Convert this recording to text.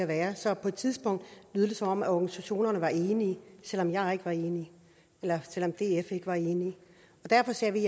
være så på et tidspunkt lød det som om organisationerne var enige selv om jeg ikke var enig eller selv om df ikke var enig og derfor sagde vi